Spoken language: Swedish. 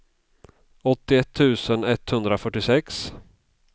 åttioett tusen etthundrafyrtiosex